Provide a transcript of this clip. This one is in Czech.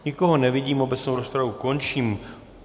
Nikoho nevidím, obecnou rozpravu končím.